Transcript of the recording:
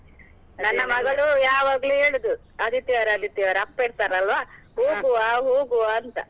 ಮಗಳು ಯಾವಗ್ಲೂ ಹೇಳುದು ಆದಿತ್ಯವಾರ ಆದಿತ್ಯವಾರ, ಅಪ್ಪ ಇರ್ತಾರಲ್ವ ಹೋಗುವ ಅಂತ.